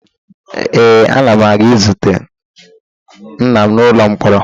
Ee, ana m aga izute nna m n'ụlọ mkpọrọ